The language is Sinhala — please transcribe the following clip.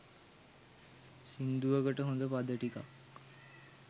සිංදුවකට හොඳ පද ටිකක්